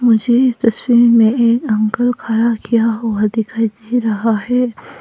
मुझे इस तस्वीर में एक अंकल खड़ा किया हुआ दिखाई दे रहा है।